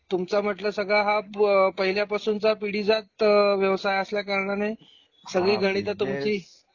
तुमचा म्हंटल सगळा हा प पहिल्या पासूनचा पिढी जात अ व्यवसाय असल्या कारणाने सगळी गणित तुम्ही ची